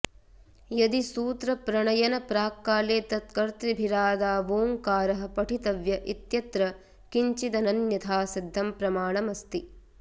यदि सूत्रप्रणयनप्राक्काले तत्कर्तृभिरादावोङ्कारः पठितव्य इत्यत्र किञ्चिदनन्यथा सिध्दं प्रमाणमस्ति